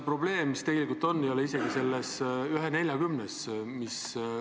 Probleem ei ole isegi selles 1,40-s.